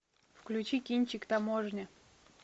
включи кинчик таможня